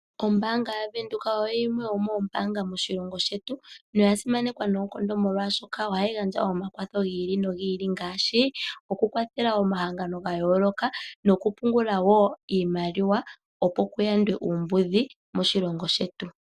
Ombaanga yaVenduka oyo yimwe yomoombaanga moshilongo shetu, noya simanekwa noonkondo molwashoka ohayi gandja omakwatho gi ili nogi ili ngaashi okukwathela omahangano ga yooloka nokupungula wo iimaliwa, opo ku yandwe uumbudhi moshilongo shetu.